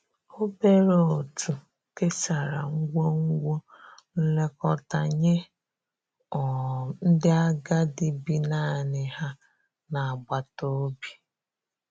obere otu kesara ngwugwo nlekọta nye um ndi agadi bi naani ha n'agbata obi.